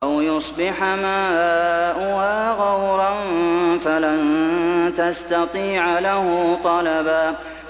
أَوْ يُصْبِحَ مَاؤُهَا غَوْرًا فَلَن تَسْتَطِيعَ لَهُ طَلَبًا